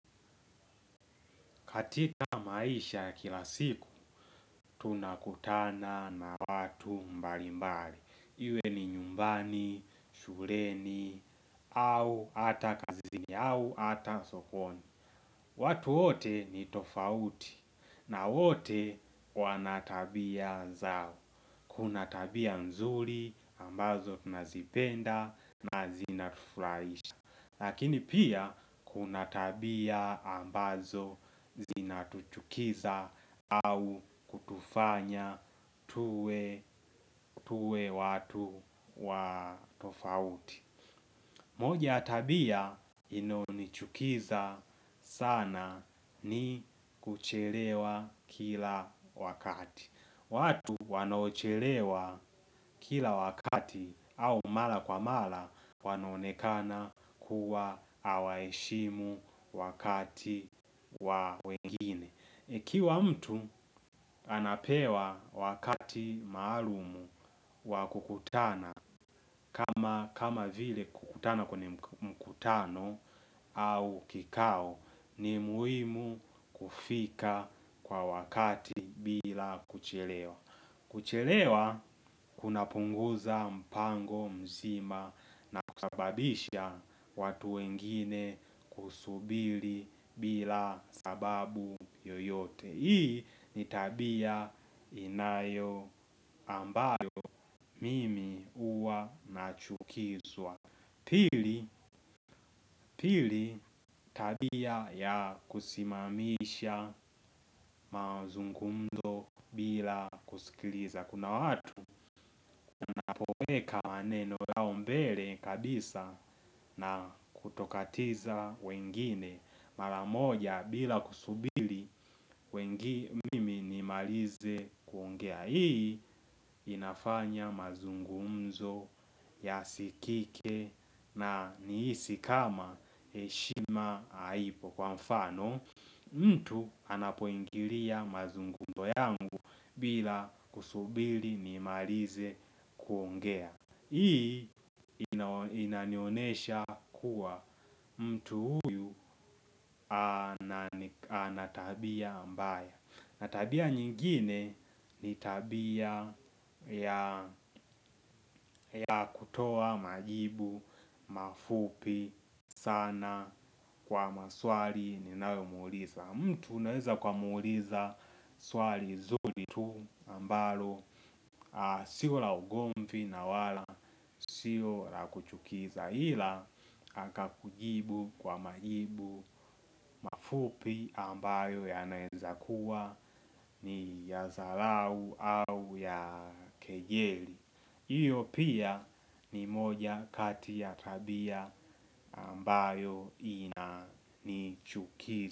Katika maisha ya kila siku, tunakutana na watu mbali mbali. Iwe ni nyumbani, shureni, au hata kazini, au ata sokoni. Watu wote ni tofauti na wote wanatabia zao. Kuna tabia nzuri ambazo tunazipenda na zinatufraisha. Lakini pia kuna tabia ambazo zina tuchukiza au kutufanya tuwe tuwe watu wa tofauti. Moja tabia inayonichukiza sana ni kuchelewa kila wakati. Watu wanaochelewa kila wakati au mala kwa mala wanaonekana kuwa hawaishimu wakati wa wengine. Ikiwa mtu anapewa wakati maalumu wa kukutana kama vile kukutana kwenye mkutano au kikao ni muimu kufika kwa wakati bila kuchelewa. Kuchelewa kunapunguza mpango mzima na kusababisha watu wengine kusubili bila sababu yoyote. Hii ni tabia inayo ambayo mimi huwa n chukizwa. Pili tabia ya kusimamisha mauzungumzo bila kusikiliza kuna watu weka maneno yao mbele kabisa na kutokatiza wengine. Mara moja bila kusubili mimi nimalize kuongea hii inafanya mazungumzo yasikike na niisi kama heshima haipo. Kwa mfano mtu anapoingiria mazungumzo yangu bila kusubili imalize kuongea. Hii inanionesha kuwa mtu huyu ana tabia mbaya na tabia nyingine ni tabia ya kutoa majibu, mafupi sana kwa maswali ninayomuuliza. Mtu naweza kwa umuliza swali zuli tu ambalo sio la ugomvi na wala sio la kuchukiza ila, akakujibu kwa majibu mafupi ambayo yanaeza kuwa ni ya zarau au ya kejeli. Hiyo pia ni moja kati ya tabia ambayo inanichukizi.